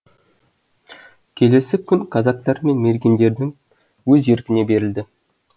келесі күн казактар мен мергендердің өз еркіне берілді